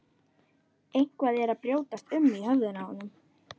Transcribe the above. Eitthvað er að brjótast um í höfðinu á honum.